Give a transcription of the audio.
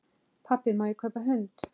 Pabbi, má ég kaupa hund?